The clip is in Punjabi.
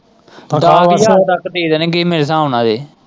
ਦਸ ਹਜਾਰ ਤੱਕ ਦੇ ਦੇਣਗੇ ਮੇਰੇ ਹਿਸਾਬ ਨਾਲ।